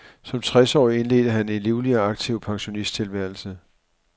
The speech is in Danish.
Som tres årig indledte han en livlig og aktiv pensionisttilværelse.